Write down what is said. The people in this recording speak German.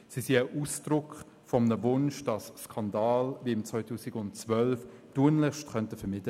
Sie sind Ausdruck des Wunsches, Skandale wie im Jahr 2012 tunlichst zu vermeiden.